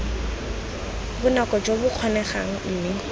bonako jo bo kgonegang mme